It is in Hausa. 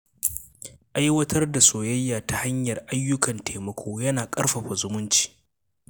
Aiwatar da soyayya ta hanyar ayyukan taimako yana ƙarfafa zumunci.